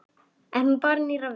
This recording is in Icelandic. En nú bar nýrra við.